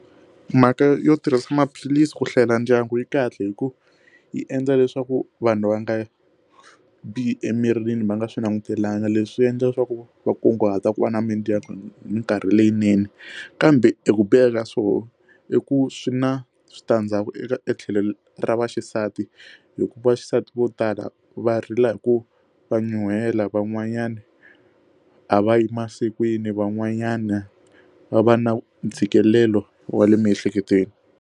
Mhaka yo tirhisa maphilisi ku hlayela ndyangu yi kahle hikuva yi endla leswaku vanhu va nga bihi emirini va nga swi langutelanga leswi endla leswaku va kunguhata ku va na mindyangu minkarhi leyinene kambe i ku biha ka swona i ku swi na switandzhaku eka tlhelo ra vaxisati hikuva xisati vo tala va rila hi ku va nyuhela van'wanyana a va yi masikwini van'wanyana va va na ntshikelelo wa le miehleketweni.